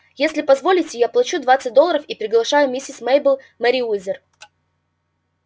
если позволите я плачу двадцать долларов и приглашаю миссис мейбелл мерриуэзер